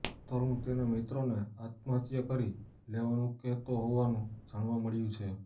તરૃણ તેના મિત્રોને આત્મહત્યા કરી લેવાનું કહેતો હોવાનું જાણવા મળ્યું છે